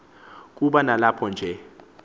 kuba nilapho nje